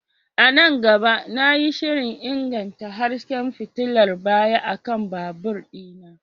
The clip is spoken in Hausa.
A nan gaba, na yi shirin inganta hasken fitilar baya akan babur ɗina.